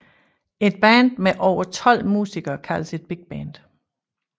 Et band med over tolv musikere kaldes et bigband